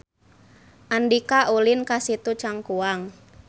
Andika ulin ka Situ Cangkuang